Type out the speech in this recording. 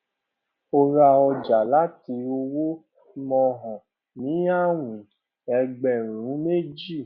ó ra ọjà láti ọwọ mohan ní àwìn ẹgbẹrún méjì